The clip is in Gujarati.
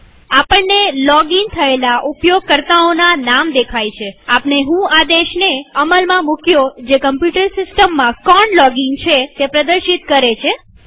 આપણને લોગીન થયેલા ઉપયોગકર્તાઓના નામ દેખાય છેઆપણે વ્હો આદેશને અમલમાં મુક્યો જે કમ્પ્યુટર સિસ્ટમમાં કોણ લોગીન છે તે પ્રદર્શિત છે